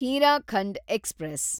Hirakhand express